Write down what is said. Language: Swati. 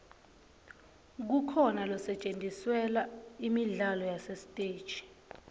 kukhona losetjentiselwa imidlalo yasesiteji